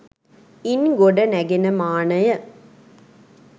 ඉන් ගොඩ නැගෙන මානය